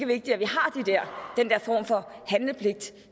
vigtigt at vi har den der form for handlepligt